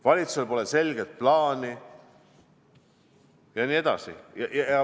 Valitsusel pole selget plaani jne.